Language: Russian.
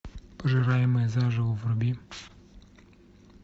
пожираемые заживо вруби